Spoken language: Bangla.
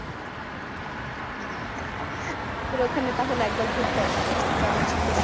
তাহলে ওখানে তাহলে একবার ঘুরতে আসা উচিত কারণ শীত এর সময়